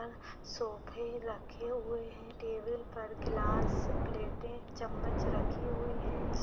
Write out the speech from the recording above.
Are सोफे रखे हुए हैं टेबल पर गिलास प्लेटे चम्मच रखी हुई हैं।